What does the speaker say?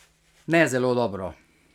Ne zelo dobro.